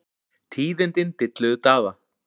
Tíðindin dilluðu Daða.